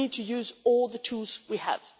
We need to use all the tools we have.